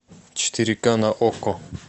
четыре ка на окко